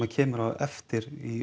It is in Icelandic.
kemur á eftir í